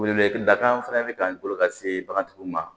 Wele weleda kan fana bɛ ka n bolo ka se bagantigiw ma